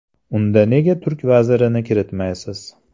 Unda nega turk vazirini kiritmaysiz?.